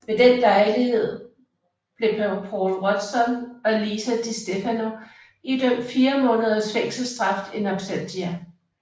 Ved den lejlighed blev Paul Watson og Lisa Distefano idømt fire måneders fængselsstraf in absentia